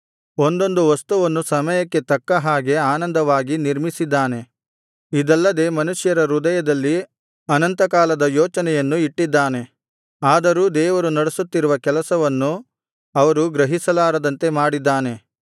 ಒಂದೊಂದು ವಸ್ತುವನ್ನು ಸಮಯಕ್ಕೆ ತಕ್ಕ ಹಾಗೆ ಅಂದವಾಗಿ ನಿರ್ಮಿಸಿದ್ದಾನೆ ಇದಲ್ಲದೆ ಮನುಷ್ಯರ ಹೃದಯದಲ್ಲಿ ಅನಂತಕಾಲದ ಯೋಚನೆಯನ್ನು ಇಟ್ಟಿದ್ದಾನೆ ಆದರೂ ದೇವರು ನಡೆಸುತ್ತಿರುವ ಕೆಲಸವನ್ನು ಅವರು ಗ್ರಹಿಸಲಾರದಂತೆ ಮಾಡಿದ್ದಾನೆ